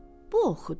Bu oxudu.